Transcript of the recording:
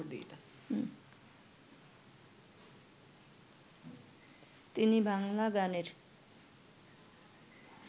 তিনি বাংলা গানের